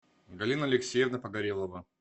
галина алексеевна погорелова